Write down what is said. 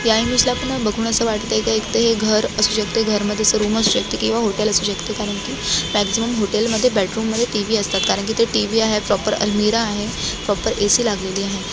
या इमेज ला बघून अस वाटते एक तर हे एक घर असू शकते घर मध्ये अस रूम असू शकते किंवा हॉटेल असू शकते कारण कि मॅक्सिमम हॉटेल मध्ये रूम मध्ये टी व्ही असतात कारण कि ते टी व्ही आहे प्रॉपर अलमिराह आहे प्रॉपर ए सि लागलेली आहे.